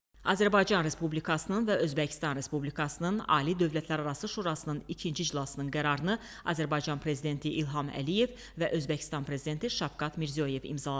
Azərbaycan Respublikasının və Özbəkistan Respublikasının Ali Dövlətlərarası Şurasının ikinci iclasının qərarını Azərbaycan prezidenti İlham Əliyev və Özbəkistan prezidenti Şavkat Mirziyoyev imzaladılar.